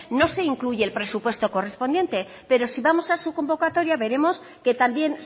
no se incluye el presupuesto correspondiente pero si vamos a su convocatoria veremos que también